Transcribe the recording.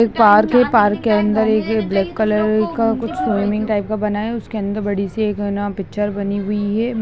एक पार्क है | पार्क के अंदर एक ब्लैक कलर का कुछ स्विमिंग टाइप का बना है उसके अंदर बड़ी सी एक है ना पिक्चर बनी हुई है।